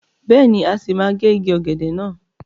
Bẹ́ẹ̀ni, a sì máa gé igi ọ̀gẹ̀dẹ̀ náà.